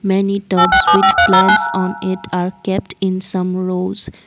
many tops with plants on it are kept in summerose.